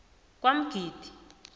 kwamgidi